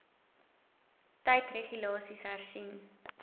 tyd regulasies hersien